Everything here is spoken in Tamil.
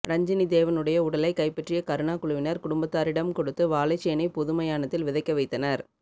ரஞ்சினிதேவனுடைய உடலை கைப்பற்றிய கருணா குழுவினர் குடும்பத்தாரிடம் கொடுத்து வாழைச்சேனை பொது மயானத்தில் விதைக்க வைத்தனர்